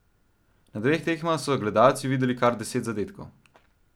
Na dveh tekmah so gledalci videli kar deset zadetkov.